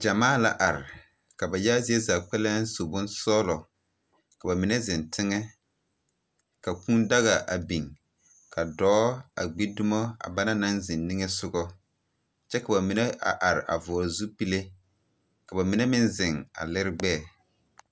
Gyamaa la are, ka ba yaga zie zaa kpɛlɛŋ su bonsɔglɔ, ka ba mine zeŋ teŋɛ , ka kũũ daga a biŋ ka dɔɔ a gbi dumo a banaŋ zeŋ niŋesogɔ kyɛ ka ba mine a are a vɔgle zupile, ka ba mine meŋ zeŋ a lere gbɛɛ.